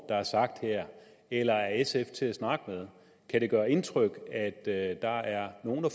er sagt her eller er sf til at snakke med kan det gøre indtryk at der er nogle